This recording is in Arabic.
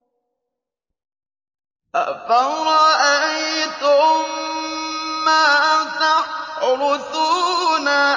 أَفَرَأَيْتُم مَّا تَحْرُثُونَ